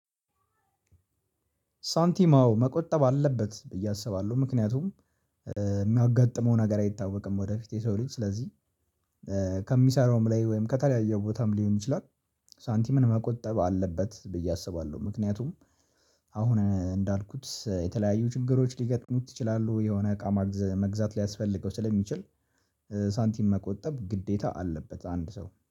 ሳንቲማው መቆጠብ አለበት ብዬ አስባለሁ ምክንያቱም የሚያጋጥመው ነገር አይታወቅም ወደፊት የሰው ልጅ ስለዚህ ከሚሰራውም ላይ ወይም ከተለያየ ቦታም ሊሆን ይችላል። ሳንቲምን መቆጠብ አለበት ብዬ አስባለሁ ምክንያቱም አሁን እንዳልኩት የተለያዩ ችግሮች ሊገጥሙት ይችላሉ የሆነ እቃ መግዛት ሊያስፈልገው ስለሚችል ሳንቲም መቆጠብ ግዴታ አለበት። አንድ ሰው